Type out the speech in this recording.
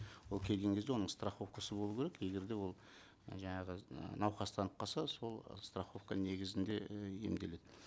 ол келген кезде оның страховкасы болу керек егер де ол і жаңағы і науқастанып қалса сол страховка негізінде і емделеді